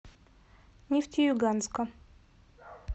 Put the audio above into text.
нефтеюганска